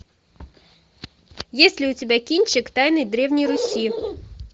есть ли у тебя кинчик тайны древней руси